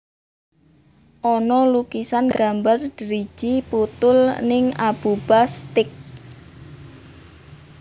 Ono lukisan gambar driji puthul ning Abuba Steak